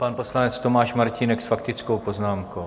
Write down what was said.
Pan poslanec Tomáš Martínek s faktickou poznámkou.